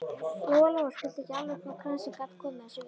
Lóa Lóa skildi ekki alveg hvað kransinn gat komið þessu við.